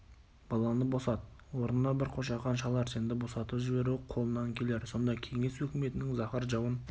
баланы босат орнына бір қошақан шал әрсенді босатып жіберу қолынан келер сонда кеңес өкіметінің заһар жауын